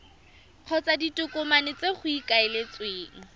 kgotsa ditokomane tse go ikaeletsweng